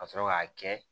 Ka sɔrɔ k'a kɛ